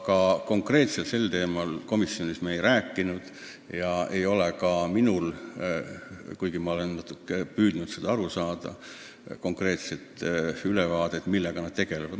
Aga konkreetselt sel teemal me komisjonis ei rääkinud ja ei ole ka minul, kuigi ma olen natuke püüdnud seda saada, konkreetset ülevaadet, millega nad tegelevad.